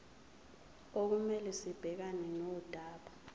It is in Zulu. okumele sibhekane nodaba